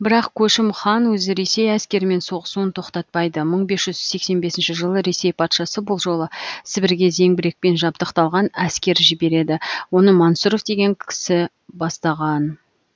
бірақ көшім хан өзі ресей әскерімен соғысуын тоқтатпайды мың бес жүз сексен бесінші жылы ресей патшасы бұл жолы сібірге зеңбірекпен жабдықталған әскер жібереді оны мансұров дегені кісі бастаған